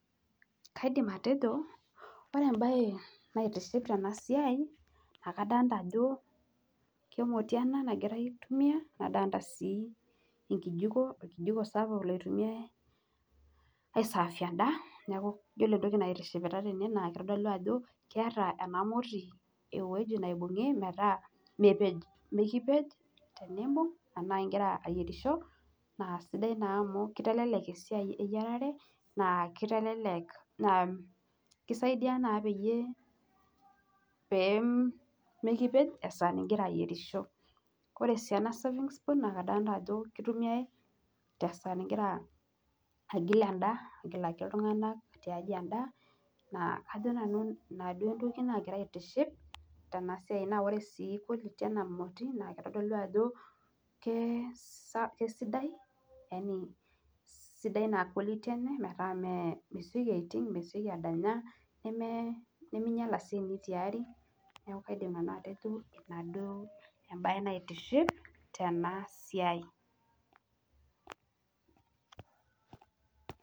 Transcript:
Kaidim atejo ore embae naitiship tena siai naa kadolita ajo emoti ena nagirai aitumia nadolita sii enkijiko, orkijiko sapuk oitumiae aisavie endaa. Neeku iyiolo entoki naitishipita tene naa keitodolu ajo keeta ena moti ewueji neibung'i metaa mepej, mekipej teniimbung' enaa igira ayierisho naa sidai naa amu kitelelek esiai eyierare, naa kitelelek naa kisaidia naa pee mekipej esaa nigira ayierisho. Ore sii ena serving spoon naa kadolita ajo keitumiai tesaa nigira agil endaa, agilaki iltung'anak tiaji endaa naa kajo nanu ina duo entoki naagira aitiship. Ore sii quality ena moti naa kitodolu ajo kesidai yani sidai naa quality enye metaa mee mesioki aiting', mesioki adanya, nemeinyala sii eneitiari. Neeku kaidim nanu atejo ina duo embae naitiship tena siai